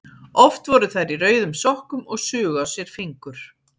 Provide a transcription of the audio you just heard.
Oft voru þær í rauðum sokkum og sugu á sér fingur.